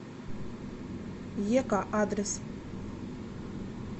ека адрес